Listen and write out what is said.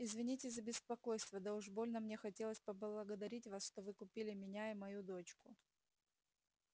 извините за беспокойство да уж больно мне хотелось поблагодарить вас что вы купили меня и мою дочку